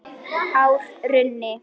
Hár runni.